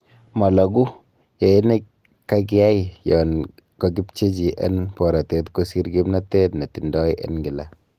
Mologuu, yoe nekaikai yon kokipchechi en borotet kosir kimnotet netindoi en kila.